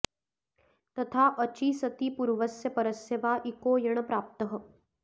तथा अचि सति पूर्वस्य परस्य वा इको यण् प्राप्तः